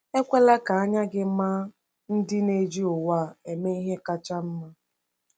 Ekwela ka anya gị maa ndị na-eji ụwa a eme ihe kacha mma.